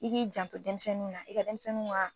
I k'i janto demisɛnniw ka